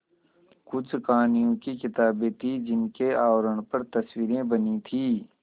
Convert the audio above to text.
कुछ कहानियों की किताबें थीं जिनके आवरण पर तस्वीरें बनी थीं